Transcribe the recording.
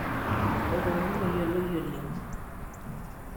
oltungani oyioloi oleng